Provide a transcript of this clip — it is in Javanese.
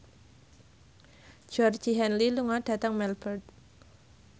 Georgie Henley lunga dhateng Melbourne